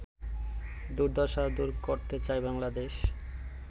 দুর্দশা দূর করতে চায় বাংলাদেশ